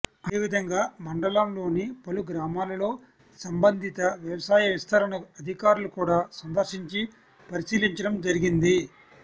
అదేవిధంగా మండలంలోని పలు గ్రామాలలో సంబంధిత వ్యవసాయ విస్తరణ అధికారులు కూడా సందర్శించి పరిశీలించడం జరిగింది